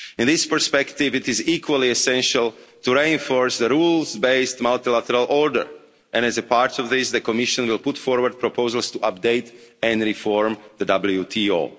In this perspective, it is equally essential to reinforce the rules-based multilateral order and as a part of this, the Commission will put forward proposals to update and reform the